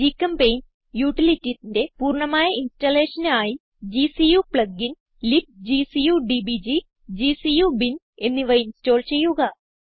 ഗ്ചെമ്പെയിന്റ് utilitiesന്റെ പൂർണ്ണമായ installationന് ആയി gcu plugin libgcu DBG gcu bin എന്നിവ ഇൻസ്റ്റോൾ ചെയ്യുക